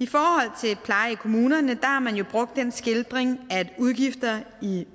i forhold til pleje i kommunerne har man jo brugt den skildring at udgifter i